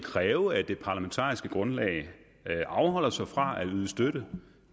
kræve at det parlamentariske grundlag afholder sig fra at yde støtte